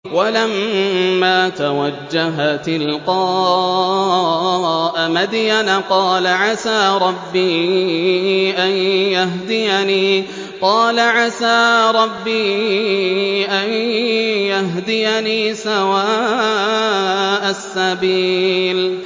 وَلَمَّا تَوَجَّهَ تِلْقَاءَ مَدْيَنَ قَالَ عَسَىٰ رَبِّي أَن يَهْدِيَنِي سَوَاءَ السَّبِيلِ